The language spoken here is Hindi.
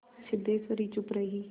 सिद्धेश्वरी चुप रही